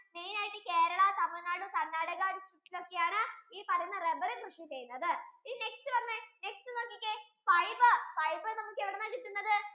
main ആയിട്ടു Kerala, TamiNadu, Karnataka ഒക്കെ ആണ് ഈ പറയുന്ന rubber കൃഷി ചെയ്യുന്നത് ഇനി next പറഞ്ഞെ next നോക്കിക്കേ fiber, fiber നമുക്ക് എവിടെ നിന്ന കിട്ടുന്നത്